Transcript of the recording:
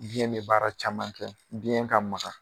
Biɲɛ be baara caman kɛ, biɲɛ ka makan.